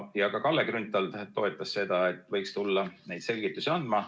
Ka Kalle Grünthal toetas seda, et võiks tulla neid selgitusi andma.